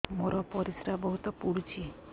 ମୋର ପରିସ୍ରା ବହୁତ ପୁଡୁଚି